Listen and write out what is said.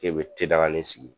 bɛ tedaganin sigi.